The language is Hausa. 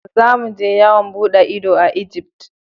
za mu je yawon bude ido a Egypt.